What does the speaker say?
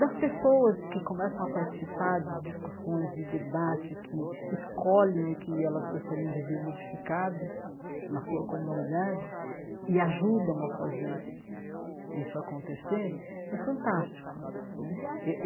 das pessoas que começam a participar de discussões, de debates, que escolhem o que elas gostariam de ver modificado na sua comunidade e ajudam a fazer isso acontecer, é fantástico né.